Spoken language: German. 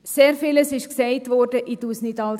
Sehr vieles wurde gesagt, ich wiederhole nicht alles.